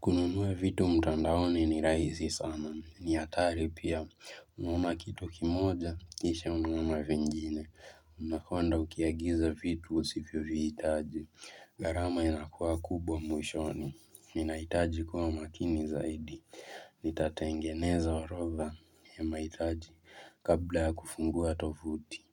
Kununua vitu mtandaoni ni rahisi sana. Ni hatari pia. Unaona kitu kimoja. Kisha unaona vingine. Unakwenda ukiagiza vitu usivyo vihitaji. Gharama inakua kubwa mwishoni. Ninaitaji kuwa makini zaidi. Nitatengeneza orodha ya mahitaji kabla kufungua tovuti.